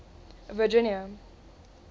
virginia